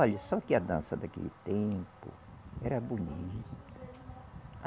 Olhe, só que a dança daquele tempo era bonita.